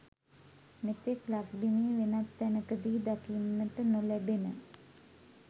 මෙතෙක් ලක්බිමේ වෙනත් තැනකදී දකින්නට නොලැබෙන